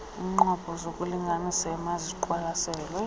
iinqobo zokulinganisa emaziqwalaselwe